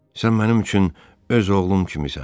Sən mənim üçün öz oğlum kimisən.